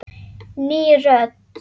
Ný rödd.